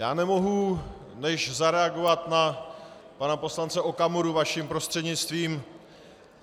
Já nemohu než zareagovat na pana poslance Okamuru vaším prostřednictvím.